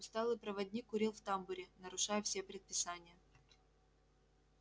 усталый проводник курил в тамбуре нарушая все предписания